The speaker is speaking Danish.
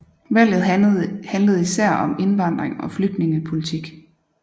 Valget handlede især om indvandring og flygtningepolitik